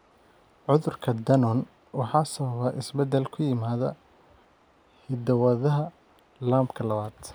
Cudurka Danon waxa sababa isbeddel ku yimaadda hidda-wadaha LAMPka lawad.